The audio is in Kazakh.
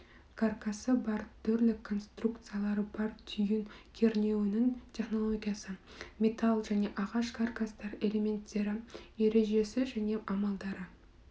каркасы бар түрлі конструкциялары бар түйін кернеуінің технологиясы металл және ағаш каркастар элементтері ережесі және амалдары